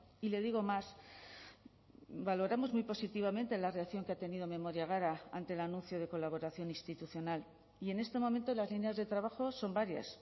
y le digo más valoramos muy positivamente la reacción que ha tenido memoria gara ante el anuncio de colaboración institucional y en este momento las líneas de trabajo son varias